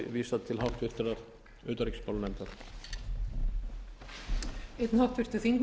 að þá verði þessu máli vísað til háttvirtrar utanríkismálanefndar